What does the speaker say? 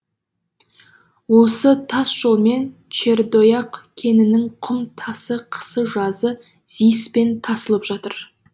осы тас жолмен чердояқ кенінің құм тасы қысы жазы зис пен тасылып жатады